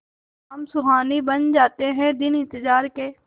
शाम सुहानी बन जाते हैं दिन इंतजार के